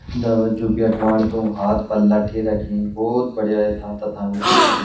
नदा जू बेठ्वान तो हाथ पर लट्ठी रखीं भोत बढ़िया यथा तथा बिटी दिख्यां।